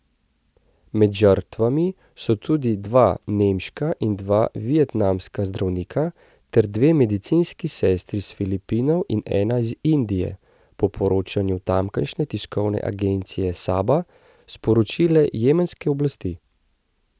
Med žrtvami so tudi dva nemška in dva vietnamska zdravnika ter dve medicinski sestri s Filipinov in ena iz Indije, je po poročanju tamkajšnje tiskovne agencije Saba sporočile jemenske oblasti.